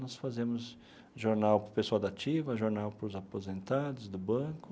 Nós fazemos jornal para o pessoal da ativa, jornal para os aposentados, do banco.